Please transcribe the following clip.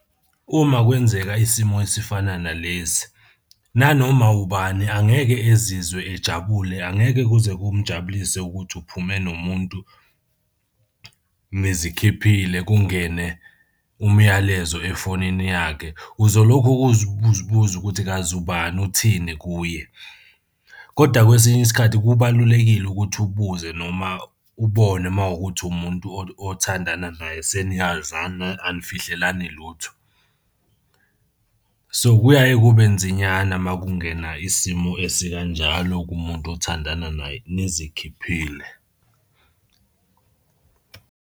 Uma kwenzeka isimo esifana nalezi, nanoma ubani angeke ezizwe ejabule, angeke kuze kumjabulise ukuthi uphume nomuntu nizikhiphile kungene umyalezo efonini yakhe. Uzolokhu uzibuza buza ukuthi kazi ubani uthini kuye? Koda kwesinye isikhathi kubalulekile ukuthi ubuze noma ubone uma kuwukuthi umuntu othandana naye seniyazana anifihlelani lutho. So, kuyaye kube nzinyana uma kungena isimo esikanjalo kumuntu othandana naye nizikhiphile.